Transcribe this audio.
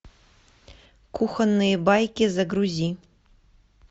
кухонные байки загрузи